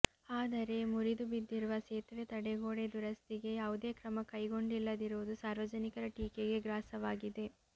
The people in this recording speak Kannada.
ಆದರೆ ಮುರಿದು ಬಿದ್ದಿರುವ ಸೇತುವೆ ತಡೆಗೋಡೆ ದುರಸ್ತಿಗೆ ಯಾವುದೇ ಕ್ರಮ ಕೈಗೊಂಡಿಲ್ಲದಿರುವುದು ಸಾರ್ವಜನಿಕರ ಟೀಕೆಗೆ ಗ್ರಾಸವಾಗಿದೆ